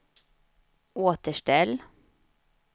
återställ